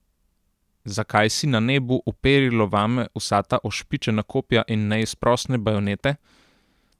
Zakaj si na nebu uperilo vame vsa ta ošpičena kopja in neizprosne bajonete?